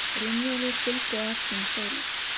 Brynjólfur fylgdi á eftir með stólinn.